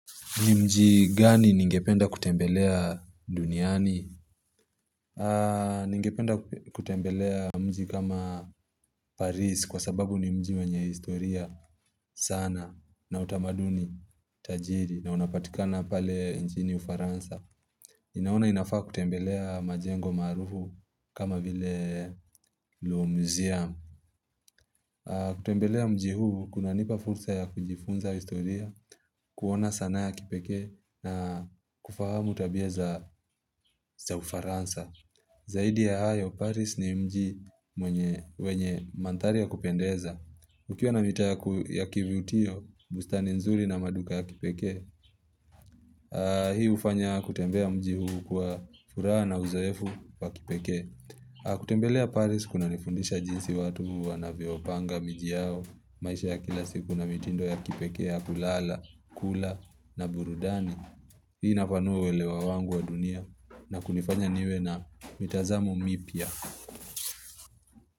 Ni mji gani ningependa kutembelea duniani? Ningependa kutembelea mji kama Paris kwa sababu ni mji wenye historia sana na utamaduni tajiri na unapatikana pale njini ufaransa. Naona inafaa kutembelea majengo maarufu kama vile louvre museum. Kutembelea mji huu kuna nipa fulsa ya kujifunza historia kuona sanaa ya kipekee na kufahamu tabia za ufaransa Zaidi ya hayo, Paris ni mji mwenye mandhari ya kupendeza Ukiwa na mitaa ya kivyutio, bustani nzuri na maduka ya kipekee Hii hufanya kutembea mji huu kwa furaha na uzoefu wa kipekee kutembelea Paris kuna nifundisha jinsi watu wanavyopanga, miji yao, maisha ya kila siku na mitindo ya kipekee ya kulala, kula na burudani Hii inapanua uelewa wangu wa dunia na kunifanya niwe na mitazamo mipya.